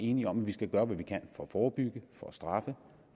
enige om at vi skal gøre hvad vi kan for at forebygge for at straffe